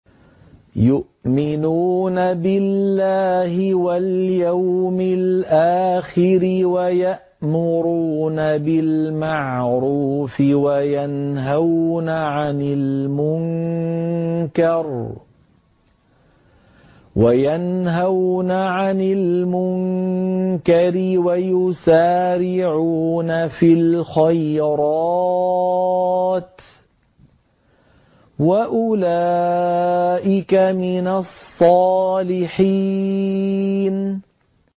يُؤْمِنُونَ بِاللَّهِ وَالْيَوْمِ الْآخِرِ وَيَأْمُرُونَ بِالْمَعْرُوفِ وَيَنْهَوْنَ عَنِ الْمُنكَرِ وَيُسَارِعُونَ فِي الْخَيْرَاتِ وَأُولَٰئِكَ مِنَ الصَّالِحِينَ